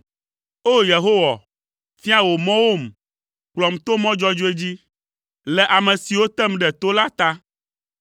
O! Yehowa, fia wò mɔwom; kplɔm to mɔ dzɔdzɔe dzi, le ame siwo tem ɖe to la ta.